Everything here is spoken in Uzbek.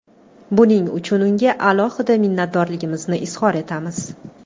Buning uchun unga alohida minnatdorligimizni izhor etamiz.